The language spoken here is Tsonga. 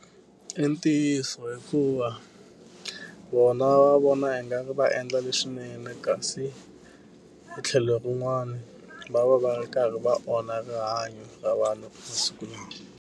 I ntiyiso hikuva vona va vona ingari va endla leswinene kasi hi tlhelo rin'wani, va va va ri karhi va onha rihanyo ra vanhu .